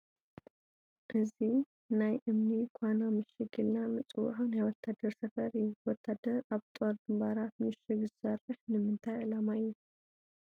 እዚ ናይ እምኒ ዃና ምሽግ ኢልና ንፅውዖ ናይ ወታደር ሰፈር እዩ፡፡ ወታደር ኣብ ጦር ግንባራት ምሽግ ዝሰርሕ ንምንታይ ዕላማ እዩ?